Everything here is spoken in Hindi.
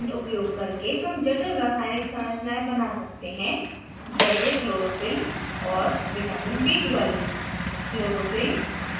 porphyrin fragment उपयोग करके हम जटिल रासायनिक संरचनायें बना सकते है जैसे chlorophyll और vitamin b12